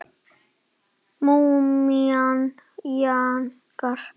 Múmían jánkar.